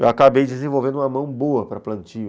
Eu acabei desenvolvendo uma mão boa para plantio.